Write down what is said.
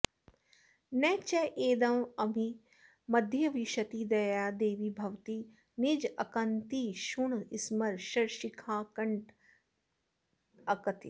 न चेदेवं मध्ये विशति दयया देवि भवती निजाकान्तिक्षुण्णस्मरशरशिखाकण्टकततिः